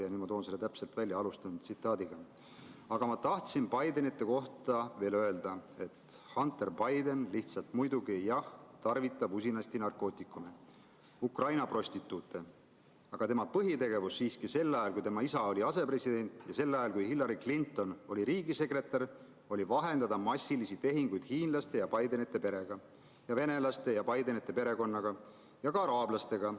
Nüüd ma toon selle täpselt välja: "Aga ma tahtsin Bidenite kohta veel öelda, et Hunter Biden lihtsalt muidugi, jah, tarvitab usinasti narkootikume ja Ukraina prostituute, aga tema põhitegevus siiski sel ajal, kui tema isa oli asepresident, ja sel ajal, kui Hillary Clinton oli riigisekretär, oli vahendada massilisi, suuri, miljonilisi või kümne miljonilisi tehinguid hiinlaste ja Bidenite perega ja venelaste ja Bidenite perekonnaga ja ukrainlaste ja Bidenite perekonnaga ja ka araablastega.